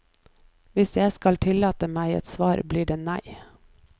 Hvis jeg skal tillate meg et svar, blir det nei.